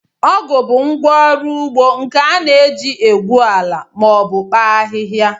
Ọgụ bụ ngwá ọrụ ugbo nke a na-eji egwu ala ma obu kpaa ahịhịa